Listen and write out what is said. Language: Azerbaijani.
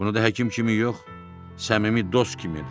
Bunu da həkim kimi yox, səmimi dost kimi edirəm.